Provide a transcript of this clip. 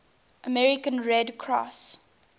american red cross